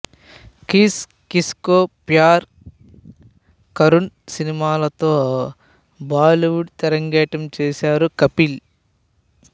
kiss Kisko Pyaar Karoon సినిమాతో Bollywood తెరంగేట్రం చేశారు కపిల్